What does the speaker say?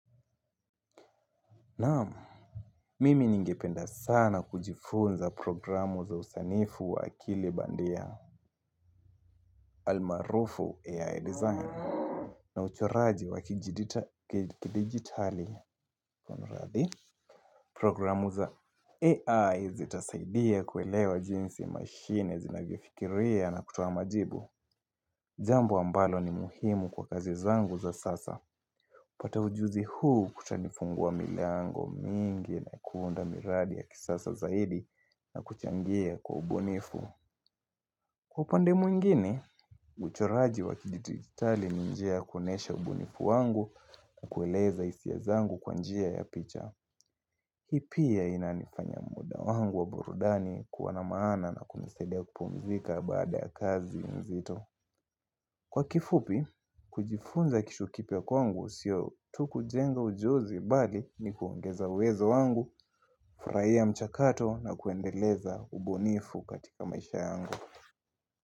Naam, mimi ningependa sana kujifunza programu za usanifu wa akili bandia almaarufu AI design na uchoraji wa kidigitali programu za AI zitasaidia kuelewa jinsi mashine zinavyofikiria na kutoa majibu Jambo ambalo ni muhimu kwa kazi zangu za sasa kupata ujuzi huu kutanifunguwa miliango mingi na kuunda miradi ya kisasa zaidi na kuchangia kwa ubunifu. Kwa upande mwingine, uchoraji wa kidigitali ni njia ya kuonesha ubunifu wangu kwa kueleza hisia zangu kwa njia ya picha. Hii pia inanifanya muda wangu wa burudani kuwa na maana na kunisaidia kupumzika baada ya kazi nzito. Kwa kifupi, kujifunza kitu kipya kwangu sio tuu kujenga ujuzi bali ni kuongeza uwezo wangu, furahia mchakato na kuendeleza ubunifu katika maisha yangu.